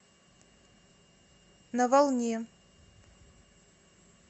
на волне